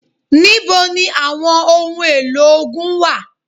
Níbo ni àwọn ohun èlò ogun wà?